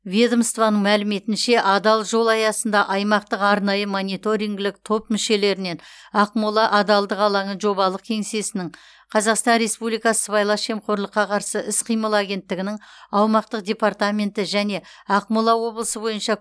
ведомствоның мәліметінше адал жол аясында аймақтық арнайы мониторингілік топ мүшелерінен ақмола адалдық алаңы жобалық кеңсесінің қазақстан республикасы сыбайлас жемқорлыққа қарсы іс қимыл агенттігінің аумақтық департаменті және ақмола облысы бойынша